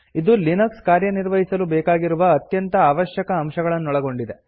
ಇದು ಲಿನಕ್ಸ್ ಕಾರ್ಯವಹಿಸಲು ಬೇಕಾಗಿರುವ ಅತ್ಯಂತ ಆವಶ್ಯಕ ಅಂಶಗಳನ್ನೊಳಗೊಂಡಿದೆ